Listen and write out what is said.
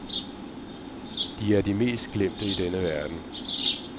De Er de mest glemte i denne verden.